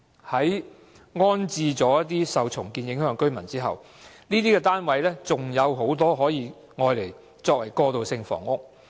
在安置受重建影響的住戶後，尚有很多單位可以用作過渡性房屋。